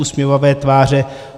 Usměvavé tváře.